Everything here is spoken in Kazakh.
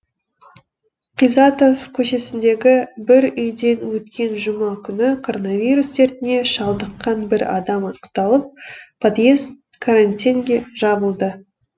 қизатов көшесіндегі бір үйде өткен жұма күні коронавирус дертіне шалдыққан бір адам анықталып подьезд карантинге жабылды